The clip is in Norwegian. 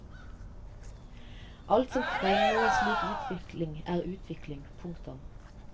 Alt som fremmer en slik utvikling er utvikling. punktum